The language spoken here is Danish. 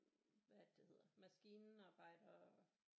Hvad er det det hedder maskinarbejdere